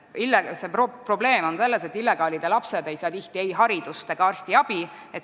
Probleem on selles, et illegaalide lapsed ei saa tihti ei haridust ega arstiabi.